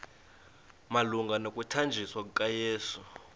malunga nokuthanjiswa kukayesu